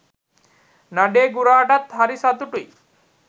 නඩේ ගුරාටත්හරි සතුටුයි.